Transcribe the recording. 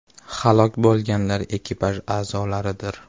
Halok bo‘lganlar ekipaj a’zolaridir.